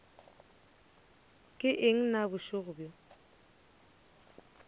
ke eng na bošego bjo